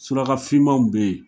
Suraka fimanw be ye